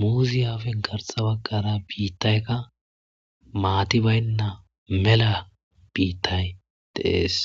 muuzi afen garsa baggara biittaykka maati baynna mela biittay dees.